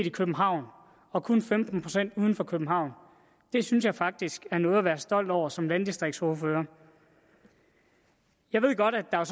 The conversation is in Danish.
i københavn og kun femten procent uden for københavn det synes jeg faktisk er noget at være stolt over som landdistriktsordfører jeg ved godt at der